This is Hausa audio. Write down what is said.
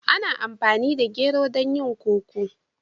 Ana amfani da gero don yin koko.